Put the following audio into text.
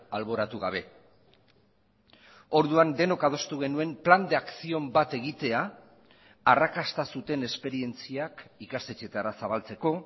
alboratu gabe orduan denok adostu genuen plan de acción bat egitea arrakasta zuten esperientziak ikastetxeetara zabaltzeko